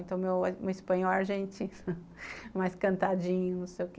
Então, meu meu espanhol e argentino, mais cantadinho, não sei o quê.